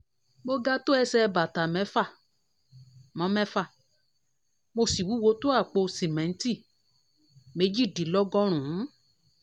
mo ga tó ẹsẹ̀ bàtà mẹ́fà mo mẹ́fà mo sì wúwo tó àpò sìmẹ́ǹtì méjìdínlọ́gọ́rùn-ún